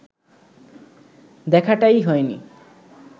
দেখাটাই হয়নি